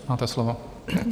Máte slovo.